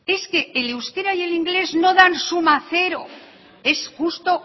es que el euskera y el inglés no dan suma cero es justo